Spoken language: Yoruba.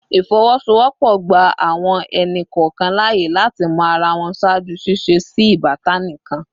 Ifowosowopo gba awọn ẹni kọọkan laaye lati mọ ara wọn ṣaaju ṣiṣe si ibatan kan